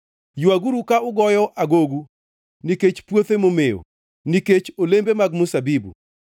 Ywaguru ka ugoyo agogu nikech puothe momewo, nikech olembe mag mzabibu,